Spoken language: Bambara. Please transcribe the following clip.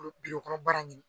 kɔnɔ baara ɲini